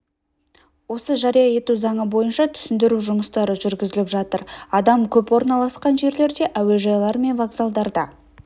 осы жария ету заңы бойынша түсіндіру жұмыстары жүргізіліп жатыр адам көп орналасқан жерлерде әуежайлар мен вокзалдарда